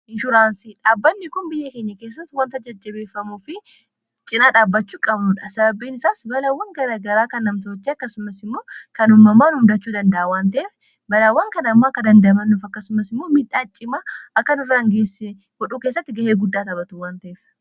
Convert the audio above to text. inshuraansii dhaabbannikun biyya keenya keessa wanta jajjabeeffamuu fi cinaa dhaabbachuu qabnuudha sababbiin isaas balaawwan gara garaa kan namtoochi akkasumas immoo kanummamaan umdachuu danda'awwante'ef balaawwan kan ammoo akka dandamannuuf akkasumas immoo midhaa cimaa akkanirraangeesse wodhuu keessatti ga'ee guddaa tapatu wantaef